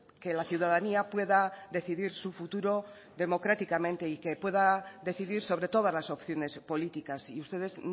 que la ciudadanía pueda decidir su futuro democráticamente y que pueda decidir sobre todas las opciones políticas y ustedes